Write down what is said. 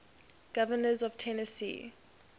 governors of tennessee